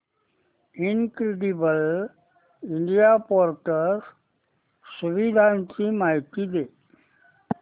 incredible India portal सुविधांची माहिती दे